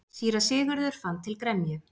Síra Sigurður fann til gremju.